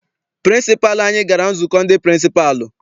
Pịrịnsịpalụ anyị gara nzukọ ndị pịrịnsịpalụ.